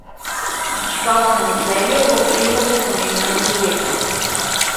Škof sem v Celju, ob tem pa so pomembna tudi leta.